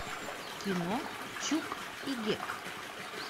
кино чук и гек